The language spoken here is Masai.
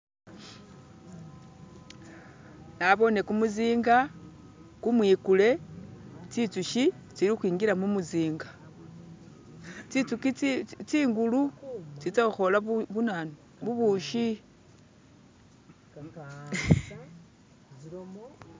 Nabone kumuzinga kumwikule tsitsushi tsilikhwingila mumuzinga tsitsuki tsingulu tsitsakhola bunanu bubushi.